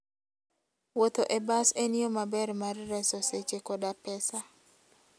Wuotho e bas en yo maber mar reso seche koda pesa.